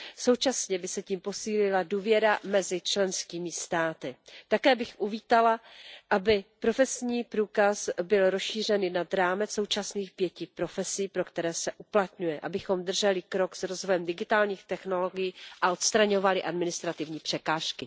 Současně by se tím posílila důvěra mezi členskými státy. Také bych uvítala, aby profesní průkaz byl rozšířen i nad rámec současných 5 profesí, pro které se uplatňuje, abychom drželi krok s rozvojem digitálních technologií a odstraňovali administrativní překážky.